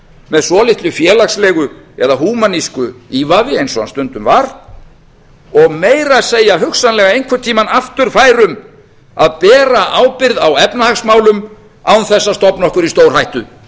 með svolitlu félagslegu eða húmanísku ívafi eins og hann stundum var og meira að segja hugsanlega einhvern tíma aftur fær um að bera ábyrgð á efnahagsmálum án þess að stofna okkur í stórhættu